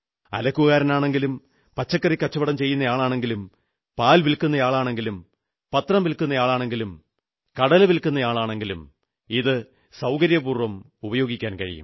അലക്കുകാരനാണെങ്കിലും പച്ചക്കറി കച്ചവടം ചെയ്യുന്നയാളാണെങ്കിലും പാൽ വിൽക്കുന്നയാളാണെങ്കിലും പത്രം വിൽക്കുന്നയാളാണെങ്കിലും ചായ വില്ക്കുന്നയാളാണെങ്കിലും കടല വിൽക്കുന്നയാളാണെങ്കിലും ഇത് സൌകര്യപൂർവ്വം ഉപയോഗിക്കാം